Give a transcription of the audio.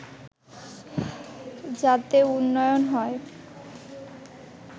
যাতে উন্নয়ন হয়